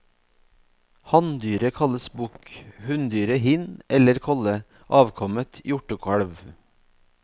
Hanndyret kalles bukk, hunndyret hind eller kolle, avkommet hjortekalv.